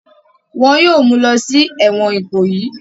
wọn yóò mulọ sí ẹ̀wọ̀n ìkòyì.